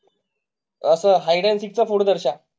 Hide and seek तिचा पुढचा.